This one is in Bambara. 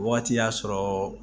Wagati y'a sɔrɔ